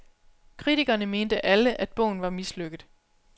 Kritkerne mente alle, at bogen var mislykket.